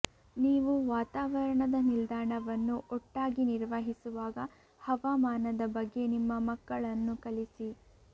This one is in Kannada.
ನೀವು ವಾತಾವರಣದ ನಿಲ್ದಾಣವನ್ನು ಒಟ್ಟಾಗಿ ನಿರ್ವಹಿಸುವಾಗ ಹವಾಮಾನದ ಬಗ್ಗೆ ನಿಮ್ಮ ಮಕ್ಕಳನ್ನು ಕಲಿಸಿ